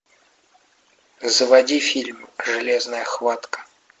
заводи фильм железная хватка